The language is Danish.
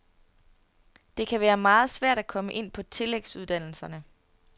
Det kan være meget svært at komme ind på tillægsuddannelsen.